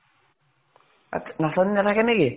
নাচনী নাথাকে নেকি ?